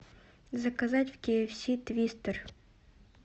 заказать в ки эф си твистер